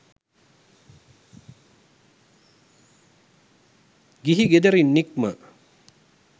ගිහි ගෙදරින් නික්ම